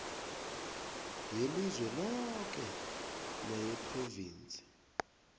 yelizwe loke neyephrovinsi